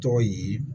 Tɔgɔ ye